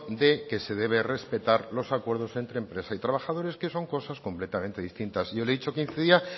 de que se debe respetar los acuerdos entre empresa y trabajadores que son cosas completamente distintas yo le he dicho que incidía